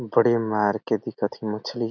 बड़े मार के दिखथे मछली--